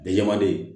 Bɛɛ manden